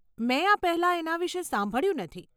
મેં આ પહેલાં એના વિષે સાંભળ્યું નથી.